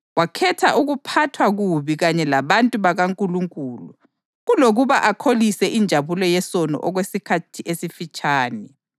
Wakhetha ukuphathwa kubi kanye labantu bakaNkulunkulu kulokuba akholise injabulo yesono okwesikhathi esifitshane.